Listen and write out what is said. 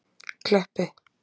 Kleppi